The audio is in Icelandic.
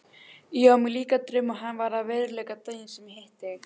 Ég á mér líka draum og hann varð að veruleika daginn sem ég hitti þig.